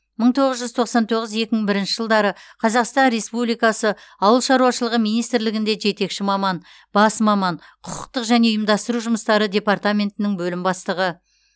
мың тоғыз жүз тоқсан тоғыз екі мың бірінші жылдары қазақстан республикасы ауыл шаруашылығы министрлігінде жетекші маман бас маман құқықтық және ұйымдастыру жұмыстары департаментінің бөлім бастығы